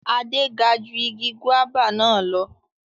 Ade ga ju igi guaba na lọ